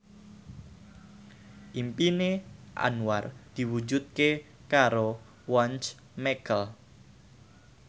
impine Anwar diwujudke karo Once Mekel